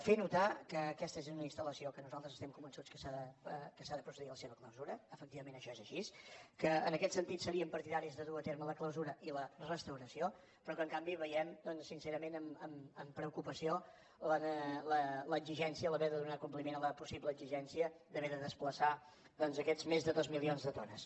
fer notar que aquesta és una instal·lació de la qual nosaltres estem convençuts que s’ha de procedir a la seva clausura efectivament això és així que en aquest sentit seríem partidaris de dur a terme la clausura i la restauració però que en canvi veiem sincerament amb preocupació l’exigència haver de donar compliment a la possible exigència d’haver de desplaçar aquests més de dos milions de tones